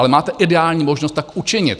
Ale máte ideální možnost tak učinit.